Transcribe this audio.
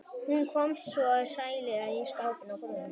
Hún kom svo með sælgætið í skálum og setti á borðið.